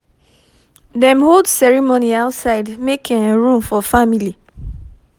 dem hold ceremony outside make um room for family